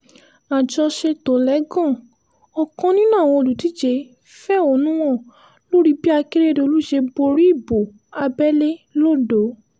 àjọṣetòlẹ́gàn ọ̀kan nínú àwọn olùdíje fẹ̀hónú hàn lórí bí akérèdọ́lù ṣe borí ìbò abẹ́lé lodò